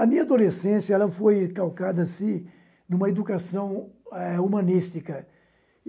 A minha adolescência foi calcada-se em uma educação eh humanística.